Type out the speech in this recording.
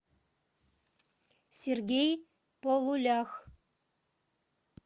сергей полулях